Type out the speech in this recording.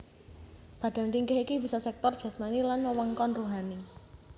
Badan ringkih iki bisa sektor jasmani lan wewengkon ruhani